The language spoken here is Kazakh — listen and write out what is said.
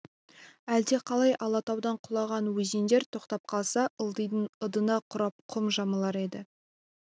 әлдеқалай алатаудан құлаған өзендер тоқтап қалса ылдидың ындыны құрып құм жамылар еді